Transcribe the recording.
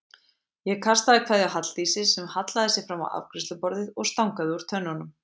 Ég kastaði kveðju á Halldísi sem hallaði sér fram á afgreiðsluborðið og stangaði úr tönnunum.